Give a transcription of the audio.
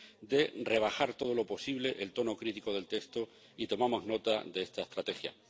de rebajar todo lo posible el tono crítico del texto, y tomamos nota de esta estrategia.